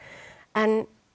en